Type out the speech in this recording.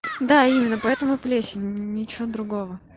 да именно поэтому плесень ничего другого